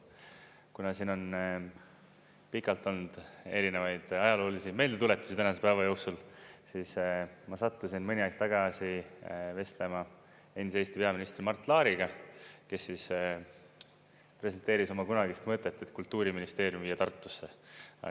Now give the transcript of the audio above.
Kuna siin on pikalt olnud erinevaid ajaloolisi meeldetuletusi tänase päeva jooksul, siis ma sattusin mõni aeg tagasi vestlema endise Eesti peaministri Mart Laariga, kes presenteeris oma kunagist mõtet, et Kultuuriministeerium viia Tartusse.